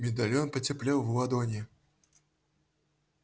медальон потеплел в ладони